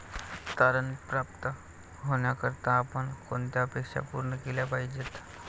तारण प्राप्त होण्याकरता आपण कोणत्या अपेक्षा पूर्ण केल्या पाहिजेत?